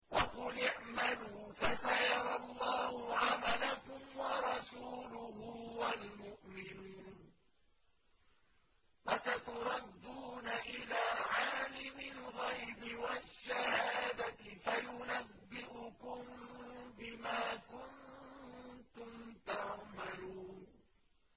وَقُلِ اعْمَلُوا فَسَيَرَى اللَّهُ عَمَلَكُمْ وَرَسُولُهُ وَالْمُؤْمِنُونَ ۖ وَسَتُرَدُّونَ إِلَىٰ عَالِمِ الْغَيْبِ وَالشَّهَادَةِ فَيُنَبِّئُكُم بِمَا كُنتُمْ تَعْمَلُونَ